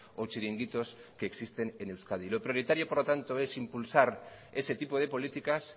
o chiringuitos que existen en euskadi lo prioritario por lo tanto es impulsar ese tipo de políticas